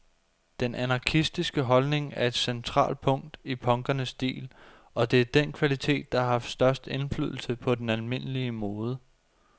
Den anarkistiske holdning er et centralt punkt i punkernes stil, og det er den kvalitet, der har haft størst indflydelse på den almindelige mode.